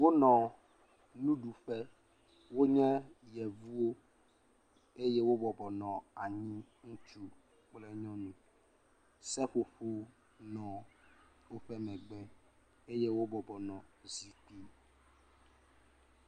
Wonɔ nuɖuƒe. Wonye yevuwo eye wobɔbɔnɔ anyi ŋutsu kple nyɔnu. Seƒoƒowo nɔ woƒe megbe eye wobɔbɔnɔ zikpui…